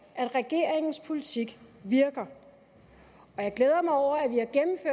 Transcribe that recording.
at regeringens politik virker og jeg glæder mig over